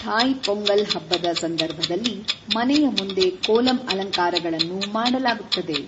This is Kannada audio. ಥಾಯ್ ಪೊಂಗಲ್ ಹಬ್ಬದ ಸಂದರ್ಭದಲ್ಲಿ ಮನೆಯ ಮುಂದೆ ಕೋಲಮ್ ಅಲಂಕಾರಗಳನ್ನು ಮಾಡಲಾಗುತ್ತದೆ.